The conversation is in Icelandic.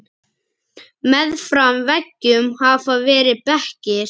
Meðfram veggjum hafa verið bekkir.